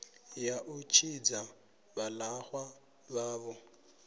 ya u tshidza vhalaxwa vhavho